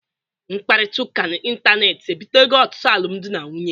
Mkparịta ụka ịntanetị ebitego ọtụtụ alụmdi na nwunye.